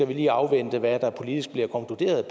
vil afvente hvad der politisk bliver konkluderet